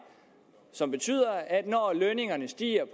som betyder at når lønningerne stiger